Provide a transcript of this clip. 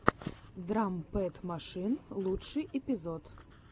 драм пэд машин лучший эпизод